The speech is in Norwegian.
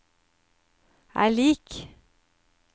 er lik